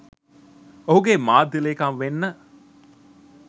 ඔහුගේ මාධ්‍ය ලේකම් වෙන්න